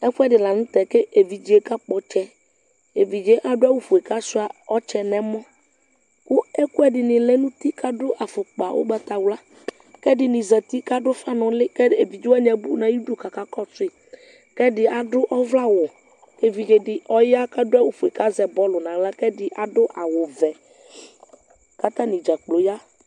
ɛfu ɛdi la nu tɛ ku evidzeyɛ kakpɔ ɔtsɛ evidze yɛ ku adu awu ofue ku asuia ɔtsɛ nu ɛmɔku ɛku ɛdini lɛ nu uti ku adu afukpa ugbatawla ku ɛdini zati ku adu ufa nu uli ku evidze wani abu nu ayiʋ idu ku aka kɔsu yi ku ɛdi adu ɔvlɛ awu ku evidze di oya , ku aɖu awu fue , ku azɛ bɔlu , ku ɔya ku ɛdi aɖu awu ɔvɛ , ku atani ɖzakplo aya